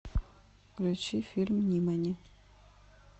включи фильм нимани